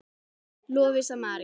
Lovísa María.